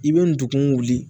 I bɛ ndugu wuli